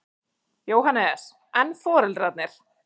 Jóhannes: En foreldrarnir?